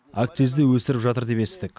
акцизді өсіріп жатыр деп естідік